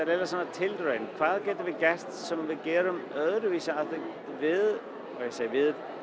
tilraun hvað getum við gert sem við gerum öðruvísi heldur en við sem við